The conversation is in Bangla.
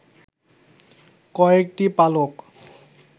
কয়েকটি পালক